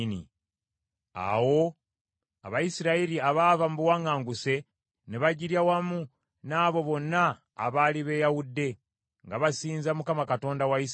Awo Abayisirayiri abaava mu buwaŋŋanguse ne bagirya wamu n’abo bonna abaali beeyawudde, nga basinza Mukama Katonda wa Isirayiri.